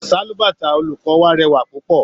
Sálúbàtà olùkọ́ wa rẹwà púpọ̀.